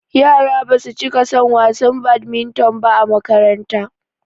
Yara basu cika son wasan badimiton ba a makaranta